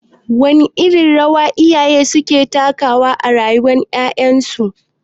Wace irin rawa iyaye suke takawa a rayuwar ƴaƴansu?